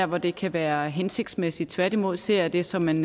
hvor det kan være hensigtsmæssigt tværtimod ser jeg det som en